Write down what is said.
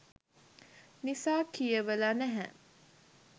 නිසා කියවල නැහැ